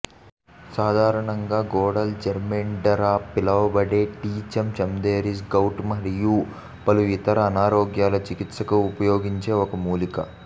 సాధారణంగా గోడల జెర్మేండర్గా పిలవబడే టీయిచమ్ చమదెరీస్ గౌట్ మరియు పలు ఇతర అనారోగ్యాల చికిత్సకు ఉపయోగించే ఒక మూలిక